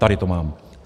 Tady to mám.